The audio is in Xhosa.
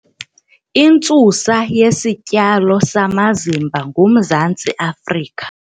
Intsusa yesityalo samazimba nguMzantsi Afrika.